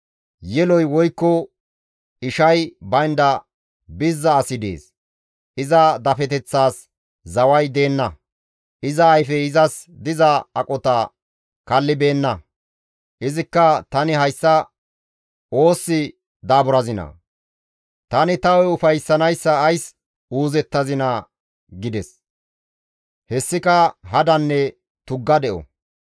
Yeloy woykko ishay baynda bizza asi dees; iza dafeteththaas zaway deenna; iza ayfey izas diza aqota kallibeenna; izikka, «Tani hayssa oosi daaburazinaa? Tani ta hu7e ufayssanayssa ays uuzettazinaa?» gides. Hessika hadanne tugga de7o.